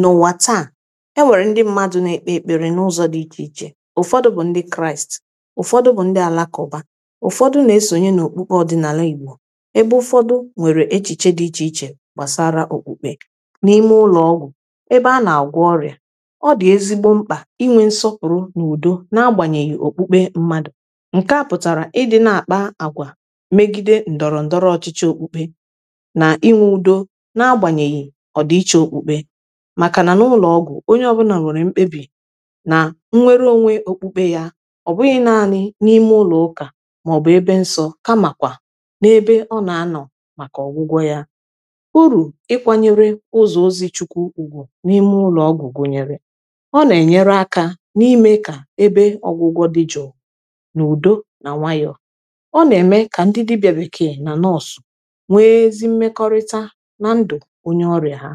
n’ụwa taa ewere ndị mmadụ na-ekpere n’ụzọ dị iche iche ụfọdụ bụ ndị kraịst ụfọdụ bụ ndị alakụba ụfọdụ na-esonye n’okpukpe ọdịnala igbo ebe ụfọdụ nwere echiche dị iche iche gbasara okpukpe n’ime ụlọọgwụ ebe a na-agwọ ọrịa ọ dị ezigbo mkpa inwe nsọpụrụ n’udo na-agbanyeghi okpukpe mmadụ nke a pụtara ịdị na-akpa agwa megide ndọrọ ndọrọ ọchịchị okpukpe na inwe udo na-agbanyeghi makà na ụlọ̀ọgwụ̀ onye ọbụna mụrụ̀ mkpebì na nnwere onwe okpukpe ya ọ bụghị̀ naanị̀ n’ime ụlọ̀ ụkà maọ̀bụ̀ ebe nsọ̀ ka màkwà n’ebe ọ na-anọ̀ makà ọgwụgwọ̀ ya uru ịkwanyere ụzọ ozi chukwu ugwu n’ime ụlọ̀ọgwụ̀ gụnyere ọ na-enyere akà n’ime kà ebe ọgwụgwọ̀ dị jụụ na udo na nwayọ̀ọ̀ ọ na-eme ka ndị dibịa bekee na nọọsụ̀ nwee ezi mmekọrịta na ndụ̀ onye ọrịà ha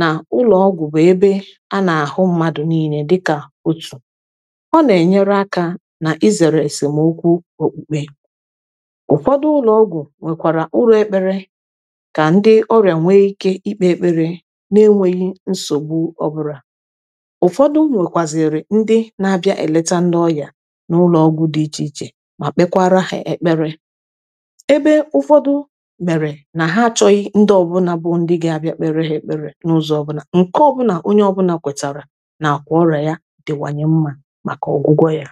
na ụlọọgwụ bụ ebe a na-ahụ mmadụ niine dịka otu ọ na-enyere aka n’izere esemokwu okpukpe ụfọdụ ụlọọgwụ nwekwara ụrọ ekpere ka ndị ọrịa nwee ike ikpe ekpere na-enweghi nsogbu ọbụla ụfọdụ nwekwaziri ndị na-abịa eleta ndị ọya n’ụlọọgwụ dị iche iche ma kpekwara ha ekpere ebe ụfọdụ nke ọbụna onye ọbụna kwetara na akwa ọrịa ya dịwanye mma maka ọgwụgwọ ya